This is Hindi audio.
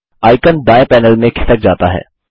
आइकन दायें पैनल में खिसक जाता है